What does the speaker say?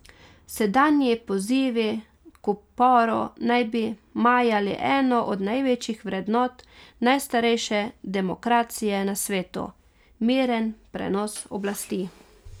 Sedanji pozivi k uporu naj bi majali eno od največjih vrednot najstarejše demokracije na svetu, miren prenos oblasti.